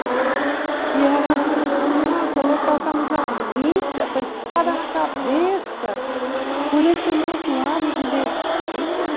E era, nossa, nós passamos a vida com a espada na cabeça por esse de besteira.